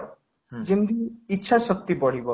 ଯେମିତିକି ଇଛା ଶକ୍ତି ବଢିବ